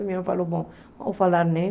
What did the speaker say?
Minha mãe falou, bom, vamos falar, né?